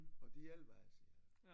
Og det hjælper altså